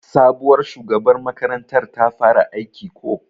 Sabuwar shugabar makarantar ta fara aiki ko?